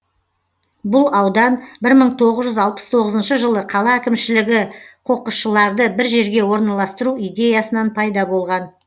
бұл аудан бір мың тоғыз жүз алпыс тоғызыншы жылы қала әкімшілігі қоқысшыларды бір жерге орналастыру идеясынан пайда болған